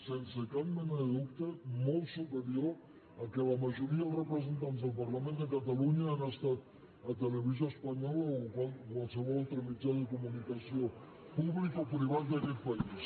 sense cap mena de dubte molt superior al que la majoria dels repre·sentants del parlament de catalunya han estat a tele·visió espanyola o a qualsevol altre mitjà de comunica·ció públic o privat d’aquest país